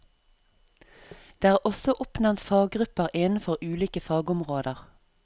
Det er også oppnevnt faggrupper innenfor ulike fagområder.